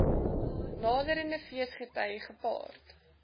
naderende feesgety gepaard